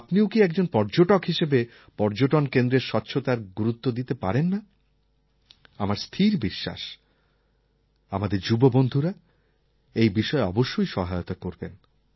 আপনিও কি একজন পর্যটক হিসেবে পর্যটন কেন্দ্রের স্বচ্ছতায় গুরুত্ব দিতে পারেন না আমার স্থির বিশ্বাস আমাদের যুব বন্ধুরা এই বিষয়ে অবশ্যই সহায়তা করবেন